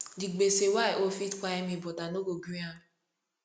di gbese wey i owe fit kpai me but i no go gree am